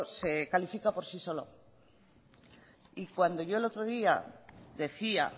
se califica por sí solo y cuando yo el otro día decía